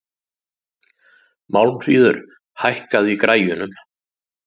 Málmfríður, hækkaðu í græjunum.